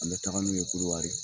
An bɛ taga n'u ye Kodowari